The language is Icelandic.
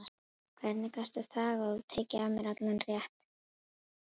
Hvernig gastu þagað og tekið af mér allan rétt?